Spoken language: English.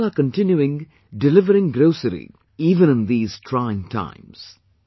These people are continuing delivering grocery even in these trying times